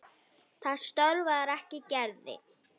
Það stöðvar ekki Gerði.